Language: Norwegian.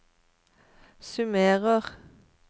summerer